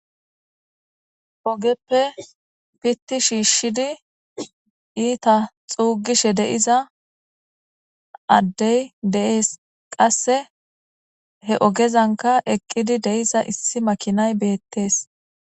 ogeppe pitti shiishshidi iita xuugishe deiza addey deees qasse he ogezanka eqqidi deiza issi makinay beettees